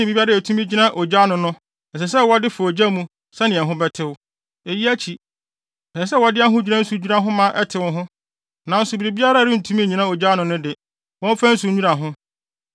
ne biribiara a etumi etumi gyina ogya ano no ɛsɛ sɛ wɔde fa ogya mu sɛnea ɛho bɛtew. Eyi akyi, ɛsɛ sɛ wɔde ahodwira nsu dwira ho ma ɛtew ho. Nanso, biribiara a ɛrentumi nnyina ogya ano no de, wɔmfa nsu nnwira ho.